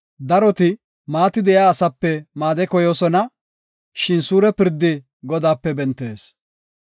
Daroti maati de7iya asape made koyoosona; shin suure pirdi Godaape bentees.